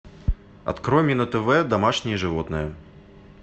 открой мне на тв домашние животные